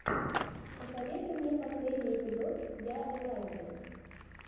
посоветуй мне последний эпизод я элайзы